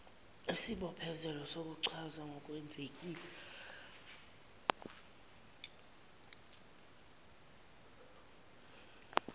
isibophezelelo sokuchaza ngokwenzekile